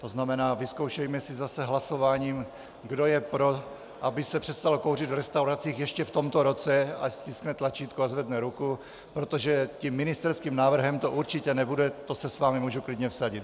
To znamená, vyzkoušejme si zase hlasováním, kdo je pro, aby se přestalo kouřit v restauracích ještě v tomto roce, ať stiskne tlačítko a zvedne ruku, protože tím ministerským návrhem to určitě nebude, to se s vámi můžu klidně vsadit.